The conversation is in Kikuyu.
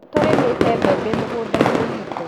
Nĩtũrĩmĩte mbembe mũgũnda-inĩ witũ